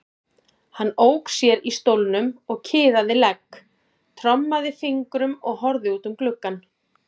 Hann ók sér í stólnum og kiðaði legg, trommaði fingrum og horfði út um gluggann.